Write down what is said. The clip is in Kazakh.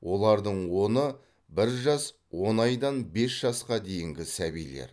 олардың оны бір жас он айдан бес жасқа дейінгі сәбилер